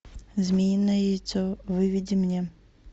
змеиное яйцо выведи мне